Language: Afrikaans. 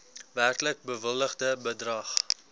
werklik bewilligde bedrag